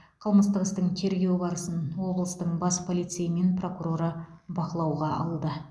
қылмыстық істің тергеу барысын облыстың бас полицейі мен прокуроры бақылауға алды